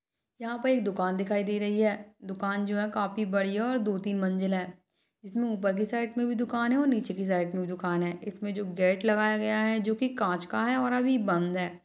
यहाँ पे एक दुकान दिखाई दे रही है दुकान जो है काफी बड़ी है और दो तीन मंजिल है इसमे ऊपर के साइड मे भी दुकान है और नीचे के साइड मे भी दुकान है और इसमे जो गेट लगाया हुआ है जो कि कांच का है और अभी बंद है।